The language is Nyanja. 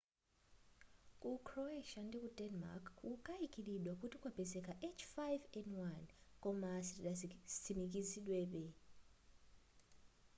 ku croatia ndiku denmark kukukayikilidwa kuti kwapezeka h5n1 koma sizidatsimikizidwebe